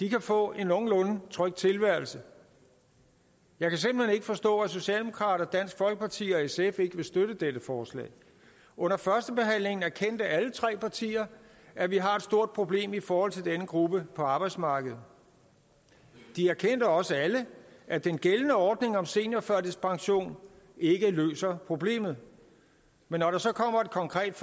kan få en nogenlunde tryg tilværelse jeg kan simpelt hen ikke forstå at socialdemokrater dansk folkeparti og sf ikke vil støtte dette forslag under førstebehandlingen erkendte alle tre partier at vi har et stort problem i forhold til denne gruppe på arbejdsmarkedet de erkendte også alle at den gældende ordning om seniorførtidspension ikke løser problemet men når der så kommer et konkret